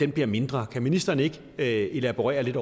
bliver mindre kan ministeren ikke elaborere lidt